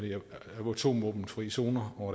atomvåbenfri zoner og